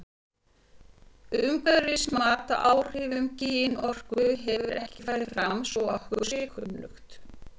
Umhverfismat á áhrifum kynorku hefur ekki farið fram svo að okkur sé kunnugt.